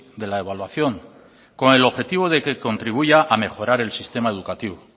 de la evaluación con el objetivo de que contribuya a mejorar el sistema educativo